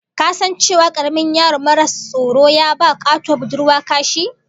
Ka san cewa karamin yaro maras tsoro ya ba katuwar budurwa kashi?